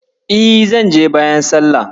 E, zan je bayan sallah.